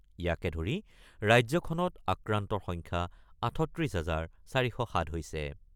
ইয়াকে ধৰি ৰাজ্যখনত আক্ৰান্তৰ সংখ্যা ৩৮ হাজাৰ ৪০৭ হৈছে।